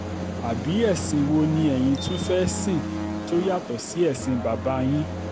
àbí ẹ̀sìn wo ni eyín tún fẹ́ẹ́ sìn tó yàtọ̀ sí ẹ̀sìn bàbá yín